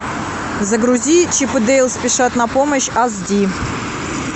загрузи чип и дейл спешат на помощь аш ди